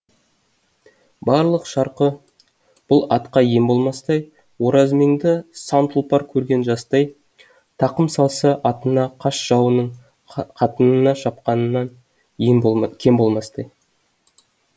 барлық шарқы бұл атқа ем болмастай оразмеңді сан тұлпар көрген жастай тақым салса атына қас жауының қатынына шапқаннан кем болмастай